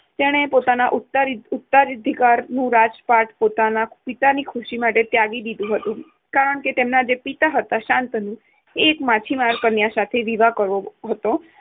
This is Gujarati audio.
તેને પોતાના ઉત્તરાધિકારનું રાજપાટ પોતાના પિતાની ખુશી માટે ત્યાગી દીધુંં હતું, કારણકે, તેમના પિતા હતા શાંતનુને એ એક માછીમાર કન્યા સાથે વિવાહ કરવો હતો.